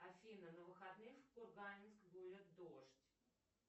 афина на выходных в кургане будет дождь